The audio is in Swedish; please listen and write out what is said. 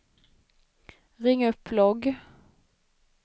ring upp logg